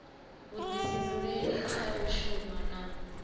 vhuḓifhinduleli kha u shuma na